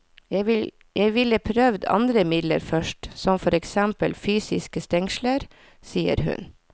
Jeg ville prøvd andre midler først, som for eksempel fysiske stengsler, sier hun.